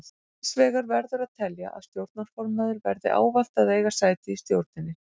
Hins vegar verður að telja að stjórnarformaður verði ávallt að eiga sæti í stjórninni.